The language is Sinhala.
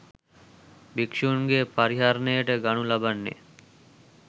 භික්ෂූන්ගේ පරිහරණයට ගනු ලබන්නේ